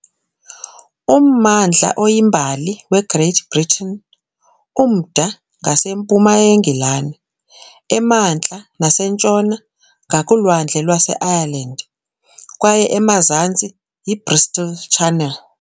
Ummandla oyimbali weGreat Britain, umda ngasempuma yeNgilani, emantla nasentshona ngakuLwandle lwaseIreland kwaye emazantsi yiBristol Channel .